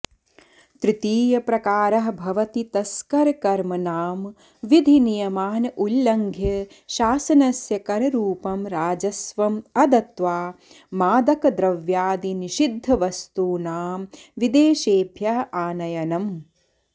तृतीय प्रकारः भवति तस्करकर्म नाम विधिनियमान् उल्लङ्घ्य शासनस्य कररुप्ं राजस्वम् अदत्वा मादकद्रव्यादिनिषिध्दवस्तूनां विदेशेभ्यः आनयनम्